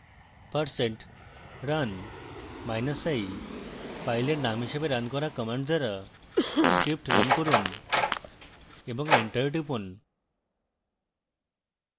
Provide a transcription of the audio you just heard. percent run minus i filename হিসাবে run command দ্বারা script run run এবং enter টিপুন